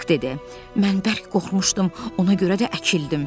Hek dedi: Mən bərk qorxmuşdum, ona görə də əkildim.